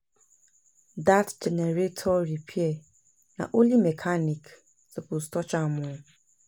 Dat generator repair, na only mechanic suppose touch am o.